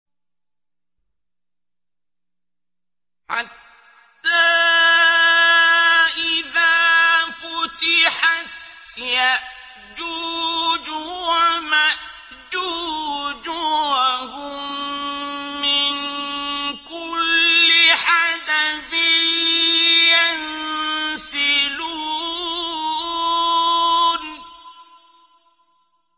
حَتَّىٰ إِذَا فُتِحَتْ يَأْجُوجُ وَمَأْجُوجُ وَهُم مِّن كُلِّ حَدَبٍ يَنسِلُونَ